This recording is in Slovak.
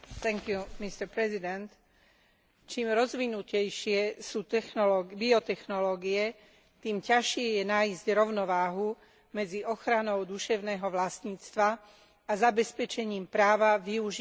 Čím rozvinutejšie sú biotechnológie, tým ťažšie je nájsť rovnováhu medzi ochranou duševného vlastníctva a zabezpečením práva využívať prírodný genetický materiál.